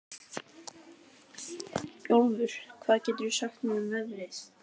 Bjólfur, hvað geturðu sagt mér um veðrið?